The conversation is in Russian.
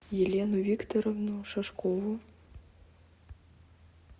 елену викторовну шашкову